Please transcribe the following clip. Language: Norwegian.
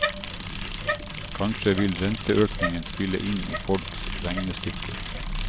Kanskje vil renteøkningen spille inn i folks regnestykker.